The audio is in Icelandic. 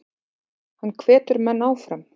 Hann hvetur menn áfram.